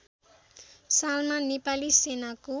सालमा नेपाली सेनाको